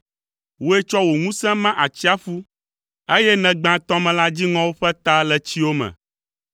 Wòe tsɔ wò ŋusẽ ma atsiaƒu, eye nègbã tɔmelã dziŋɔwo ƒe ta le tsiwo me.